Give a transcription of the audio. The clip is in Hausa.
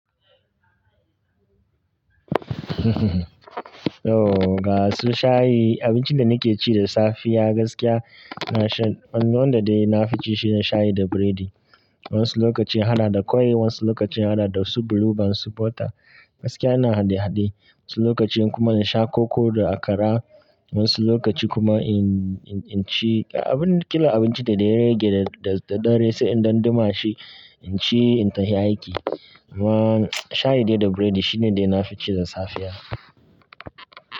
Ooo, ga su shayi, abincin da nake ci da safiya gaskiya na shan-- wanda dai na fi ci shine shayi da biredi. Wasu lokaci hana da kwai, wasu lokaci hana da su blue band, su butter. Gaskiya na hade-hade, wasu lokaci kuma in sha koko da akara, wasu lokaci kuma in-in-in ci abin-- kila abincin da ya rage da dare sai in danduma shi, in ci in tahi aiki. Amma shayi dai da biredi shine dai na fi ci da safiya.